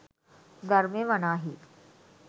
ධර්මය වනාහී